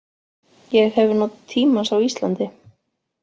Ég hef notið tímans á Íslandi.